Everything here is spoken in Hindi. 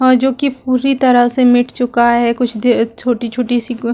और जोकि पूरी तरह से मिट चुका है कुछ दे छोटी-छोटी -सी कु --